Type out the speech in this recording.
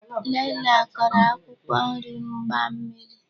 Nnenna koro akwụkwọ nri mgbammiri.